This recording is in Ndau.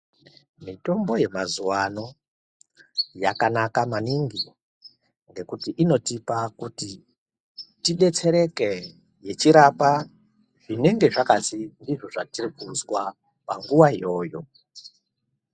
Mitombo yemazuwa ano yakanaka maningi ngekuti inotipa kuti tidetsereke yechirapa zvinenge zvakazi ndizvo zvatirikuzwa panguwa iyoyo.